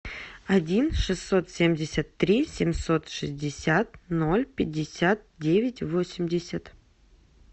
один шестьсот семьдесят три семьсот шестьдесят ноль пятьдесят девять восемьдесят